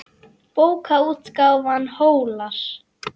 Bókaútgáfan Hólar.